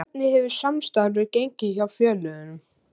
Hvernig hefur samstarfið gengið hjá félögunum?